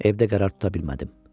Evdə qərar tuta bilmədim.